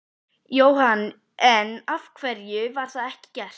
Jóhann: En af hverju var það ekki gert?